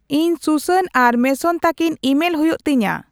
ᱤᱧ ᱥᱩᱥᱟᱱ ᱟᱨ ᱢᱮᱥᱚᱱ ᱛᱟᱠᱤᱱ ᱤᱢᱮᱞ ᱦᱩᱭᱩᱜ ᱛᱤᱧᱟᱹ